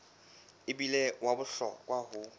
e bile wa bohlokwa ho